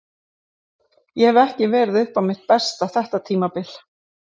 Ég hef ekki verið upp á mitt besta þetta tímabil.